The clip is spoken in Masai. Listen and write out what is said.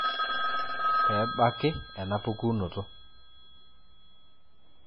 Pebaki ena pukunoto.